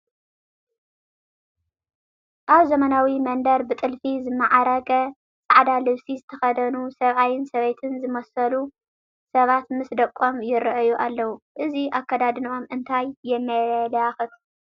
ኣብ ዘመናዊ መንደር ብጥልፊ ዝማዕረገ ፃዕዳ ልብሲ ዝተኸደኑ ሰብኣይን ሰበይትን ዝመስሉ ሰባት ምስ ደቆም ይርአዩ ኣለዉ፡፡ እዚ ኣከዳድንኦም እንታይ የመላኽት?